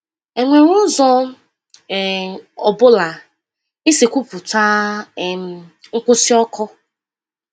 Enwere ụzọ ọ um bụla isi kwupụta um nkwụsị ọkụ?